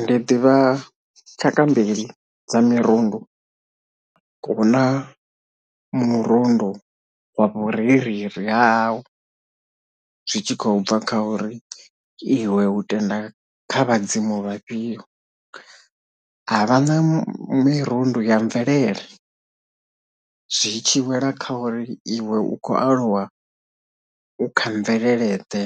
Ndi ḓivha tshaka mbili dza mirundu huna murundu wa vhurereli ha hau zwi tshi khou bva kha uri iwe hu tenda kha vhadzimu vhafhio havha na mirundu ya mvelele zwi tshi wela kha uri iwe u khou aluwa u kha mvelele ḓe